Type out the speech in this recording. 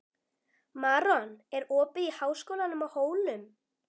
Maron, er opið í Háskólanum á Hólum?